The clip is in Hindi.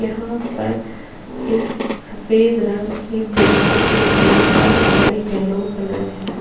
यहाँ पर इस सफ़ेद रंग की बिल्डिंग के गेट का कलर येल्लो कलर है --